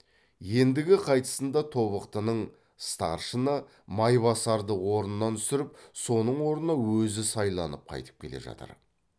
ендігі қайтысында тобықтының старшыны майбасарды орнынан түсіріп соның орнына өзі сайланып қайтып келе жатыр